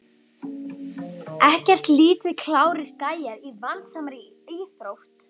Ekkert lítið klárir gæjar í vandasamri íþrótt!